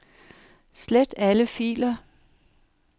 Slet alle filer.